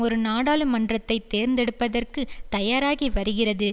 ஒரு நாடாளுமன்றத்தை தேர்ந்தெடுப்பதற்கு தயாராகி வருகிறது